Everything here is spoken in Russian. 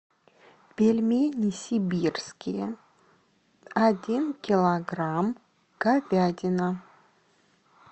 пельмени сибирские один килограмм говядина